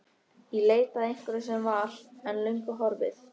Í leit að einhverju sem var, en er löngu horfið.